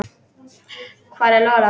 Hver er Lola?